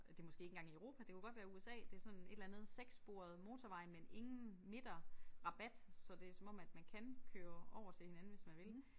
Det måske ikke engang i Europa det kunne godt være USA. Det sådan et eller andet sekssporet motorvej men ingen midterrabat så det som om at man kan køre over til hinanden hvis man vil